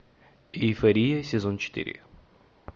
эйфория сезон четыре